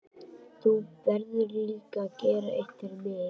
Þú verður líka að gera eitt fyrir mig.